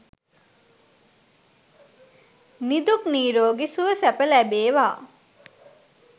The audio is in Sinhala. නිදුක් නිරෝගී සුව සැප ලැබේවා.